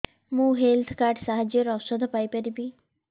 ମୁଁ health card ସାହାଯ୍ୟରେ ଔଷଧ ପାଇ ପାରିବି